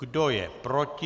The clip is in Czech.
Kdo je proti?